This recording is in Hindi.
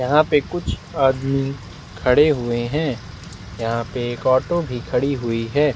यहाँ पे कुछ आदमी खड़े हुए है यहाँ पे एक ऑटो भी खड़ी हुई है।